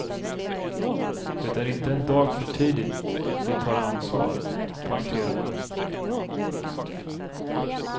Det är inte en dag för tidigt de tar ansvar, poängterade han.